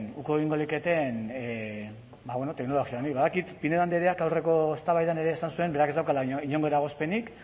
teknologia honi badakit pinedo andreak aurreko eztabaidan ere esan zuen berak ez daukala inongo eragozpenik